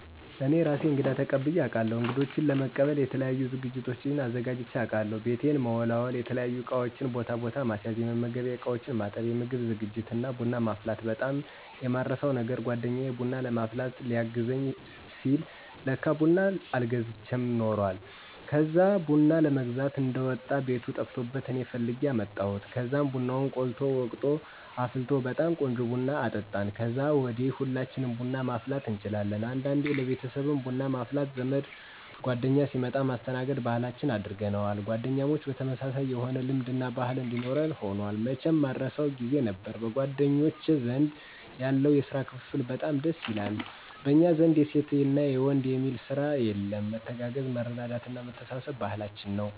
እኔ እራሴ እንግዳ ተቀብየ አቃለሁ። እንግዶቸን ለመቀበል የተለያዩ ዝግጅቶችን አዘጋጅቸ አቃለሁ። ቤቴን መወላወል፣ የተለያዩ እቃወችን ቦታ ቦታ ማስያዝ፣ የመመገቢያ እቃወችን ማጠብ፣ የምግብ ዝግጅት እና ቡና ማፍላት በጣም የማረሳው ነገር! ጓደኛየ ቡና ለማፍላት ሊያገዘኝ ሲል ለካ ቡና አልገዝቸም ኑሯል። ከዛ ቡና ለመግዛት እንደወጣ ቤቱ ጠፍቶበት እኔ ፈልጌ አመጣሁ። ከዛም ቡናውን ቆልቶ፣ ወቅጦ እና አፍልቶ በጣም ቆንጆ ቡና አጠጣን። ከዛ ወዲ ሁላችንም ቡና ማፍላት እንችላለን። አንዳንዴ ለቤተሰብም ቡና ማፍላት ዘመድ ጓደኛ ሲመጣ ማስተናገድ ባህላችን አድርገነውል። ጓደኛሞች ተመሳሳይ የሆነ ልምድ እና ባህል እንዲኖረን ሁኗል። መቸም ማረሳው! ጊዜ ነበር። በጓደኞቸ ዘንድ ያለው የስራ ክፍፍል በጣም ደስ ይላል። በኛ ዘንድ የሴት የወንድ የሚል ስራ የለም። መተጋገዝ፣ መረዳዳት እና መተሳሰብ ባህላችን ነው።